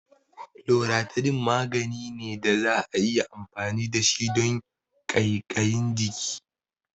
Loratidine magani ne da za'a iya amfani da shi don ƙaiƙayin jiki